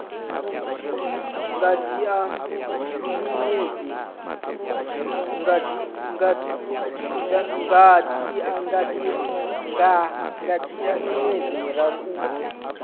nga dzhia miṅwedzi miraru u